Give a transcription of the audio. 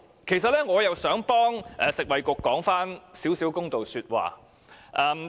其實，我也想為食物及衞生局說幾句公道話。